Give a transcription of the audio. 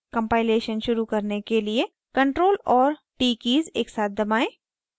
compilation शुरू करने के लिए ctrl और t कीज़ एकसाथ दबाएं